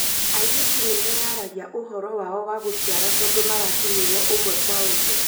Airĩtu nĩmeyaragia ũhoro wao wa gũciara tondũ marakinyĩrwo ũmwe kwa ũmwe